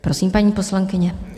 Prosím, paní poslankyně.